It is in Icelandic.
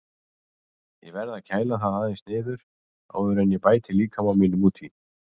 Ég verð að kæla það aðeins niður áður en ég bæti líkama mínum út í.